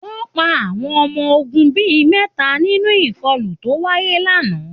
Wọ́n pa àwọn ọmọ ogun bí i mẹ́ta nínú ìkọlù tó wáyé lánàá